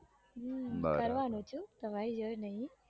હમ હો તમારી નહિ